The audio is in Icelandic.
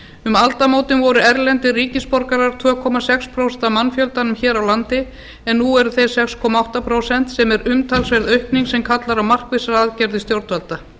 um aldamótin voru erlendir ríkisborgarar tvo sex prósent af mannfjöldanum hér á landi en nú eru þeir sex átta prósent sem er umtalsverð aukning sem kallar á markvissar aðgerðir stjórnvalda